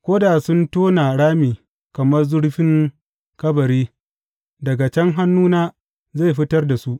Ko da sun tona rami kamar zurfin kabari, daga can hannuna zai fitar da su.